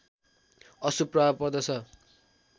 अशुभ प्रभाव पर्दछ